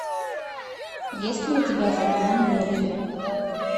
есть ли у тебя закон мерфи